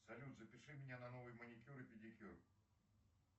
салют запиши меня на новый маникюр и педикюр